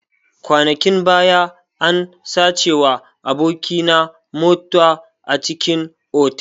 Kwanakin baya an sacewa aboki na mota a cikin otal.